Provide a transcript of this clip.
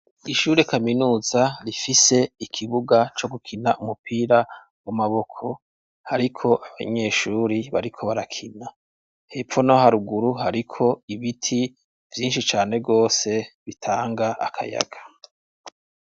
Ishure kaminuza rifise ikibuga co gukina umupira w'amaboko. Hariko abanyeshuri bariko barakina, hepfo no haruguru hariko ibiti byinshi cane wose bitanga akayaga.